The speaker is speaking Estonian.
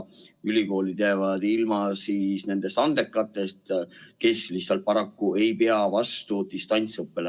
Ülikoolid ehk jäävad ilma nendest andekatest noortest, kes lihtsalt paraku ei pea vastu distantsõppele.